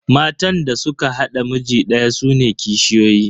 Matan da suka haɗa miji daya sune kishiyoyi.